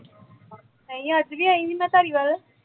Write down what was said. ਨਹੀਂ ਅੱਜ ਵੀ ਆਈ ਸੀ ਮੈਂ ਧਾਰੀਵਾਲ